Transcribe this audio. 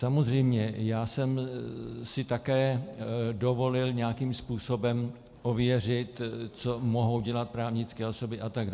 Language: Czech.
Samozřejmě, já jsem si také dovolil nějakým způsobem ověřit, co mohou dělat právnické osoby atd.